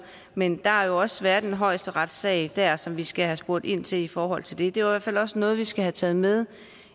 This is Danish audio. men der har jo også været en højesteretssag der som vi skal have spurgt ind til i forhold til det det er hvert fald også noget vi skal have taget med